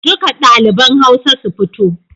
Duka ɗaliban Hausa su fito.